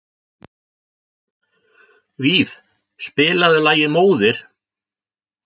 Víf, spilaðu lagið „Móðir“.